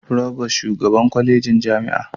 Provost shugaban kwalejojin jami'a